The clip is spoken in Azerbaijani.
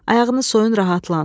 Ayağını soyun, rahatlan.